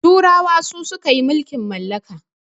turawa su suka yi mulkin mallaka